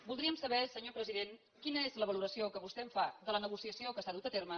voldríem saber senyor president quina és la valoració que vostè en fa de la negociació que s’ha dut a terme